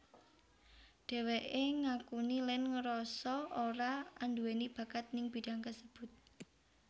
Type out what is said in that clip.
Dheweké ngakuni lan ngerasa ora anduweni bakat ning bidang kasebut